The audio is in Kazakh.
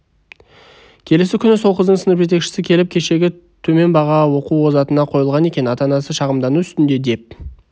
келесі күні сол қыздың сынып жетекшісі келіп кешегі төмен баға оқу озатына қойылған екен ата-анасы шағымдану үстінде деп